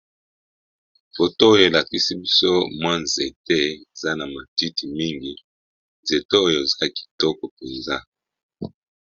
Foto oyo elakisi biso mwa nzete eza na matiti mingi nzete oyo eza kitoko mpenza.